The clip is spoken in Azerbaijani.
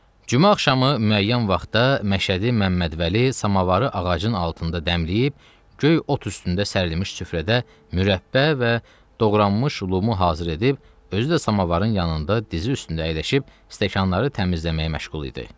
Cümə axşamı müəyyən vaxtda Məşədi Məmməd Vəli samovarı ağacın altında dəmləyib, göy ot üstündə sərilmiş süfrədə mürəbbə və doğranmış lümu hazır edib, özü də samovarın yanında dizi üstündə əyləşib stəkanları təmizləməyə məşğul idi.